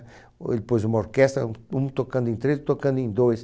Ele pôs uma orquestra, um, um tocando em três, o outro tocando em dois.